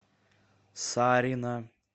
сарина